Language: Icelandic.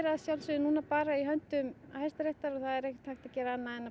að sjálfsögðu bara í höndum Hæstaréttar og það er ekki hægt að gera annað en